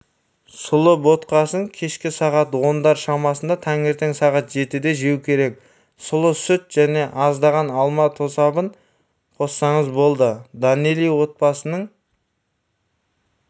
сұлы ботқасын кешке сағат ондар шамасында таңертең сағат жетіде жеу керек сұлы сүт және аздаған алма тосабын қоссаңыз болды доннели отбасының